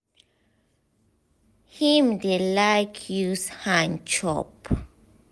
him dey like use hand chop.